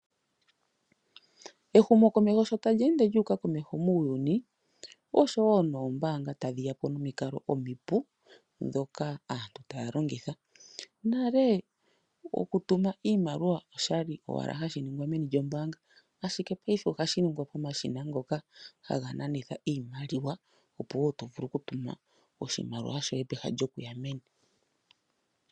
Ehumo komeho sho tali ende lu uka komeho muuyuni oshowo noombanga tadhi yapo nomikalo omi pu dhoka aantu taya longitha. Nale oku tuma iimaliwa oshali owala hashi ningwa meeni lyombanga ashike paife ohashi nigwa komashina ngoka haga nanitha iimaliwa, oku wo to vulu oku tuma oshimaliwa shoye peha lyo kuya meni.